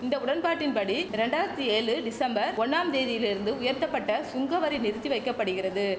இந்த உடன்பாட்டின்படி ரெண்டாயிரத்தி ஏழு டிசம்பர் ஒண்ணாம் தேதியிலிருந்து உயர்த்தப்பட்ட சுங்கவரி நிறுத்தி வைக்க படுகிறது